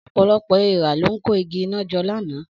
Ọ̀pọ̀lọpọ̀ èèrà ló ń kó igi iná jọ lánàá.